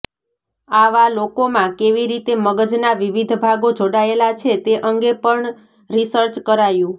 આવાં લોકોમાં કેવી રીતે મગજના વિવિધ ભાગો જોડાયેલા છે તે અંગે પણ રિસર્ચ કરાયું